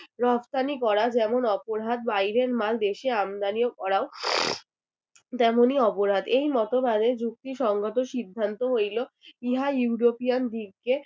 রফতানি করা যেমন অপরাধ বাইরের মাল দেশে আমদানি করাও তেমনই অপরাধ। এই মতবাদের যুক্তি সঙ্গত সিদ্ধান্ত হইল ইহা ইউরোপিয়ান দিগকে